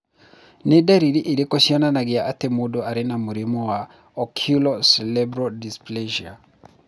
Nĩ ndariri irĩkũ cionanagia atĩ mũndũ arĩ na mũrimũ wa Oculo cerebral dysplasia?